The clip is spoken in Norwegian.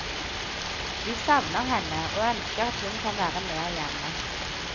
Vi savner henne og ønsker at hun kan være mer hjemme.